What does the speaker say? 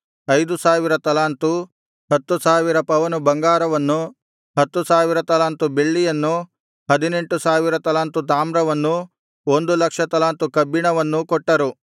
ಐದು ಸಾವಿರ ತಲಾಂತು ಹತ್ತು ಸಾವಿರ ಪವನು ಬಂಗಾರವನ್ನೂ ಹತ್ತು ಸಾವಿರ ತಲಾಂತು ಬೆಳ್ಳಿಯನ್ನೂ ಹದಿನೆಂಟು ಸಾವಿರ ತಲಾಂತು ತಾಮ್ರವನ್ನೂ ಒಂದು ಲಕ್ಷ ತಲಾಂತು ಕಬ್ಬಿಣವನ್ನೂ ಕೊಟ್ಟರು